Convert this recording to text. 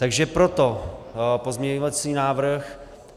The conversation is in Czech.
Takže proto pozměňovací návrh.